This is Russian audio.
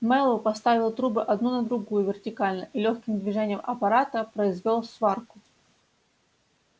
мэллоу поставил трубы одну на другую вертикально и лёгким движением аппарата произвёл сварку